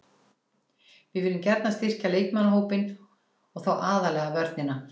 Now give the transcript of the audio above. Við viljum gjarnan styrkja leikmannahópinn og þá aðallega vörnina.